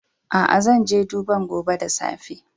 Aa, zan je duban gobe da safe.